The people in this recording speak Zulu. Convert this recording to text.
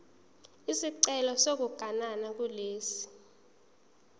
isicelo sokuganana kulesi